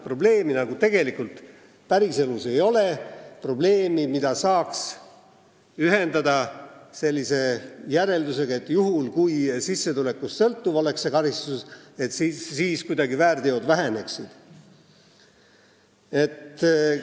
Probleemi päriselus ei ole, probleemi, mida saaks ühendada sellise järeldusega, et kui karistus oleks sissetulekust sõltuv, siis väärteod väheneksid.